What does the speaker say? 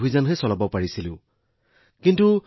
তেওঁলোকে আনকি আমাৰ প্ৰচাৰৰ প্ৰতিও ইমান মনোযোগ দিয়া নাছিল